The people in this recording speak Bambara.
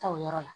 Ta o yɔrɔ la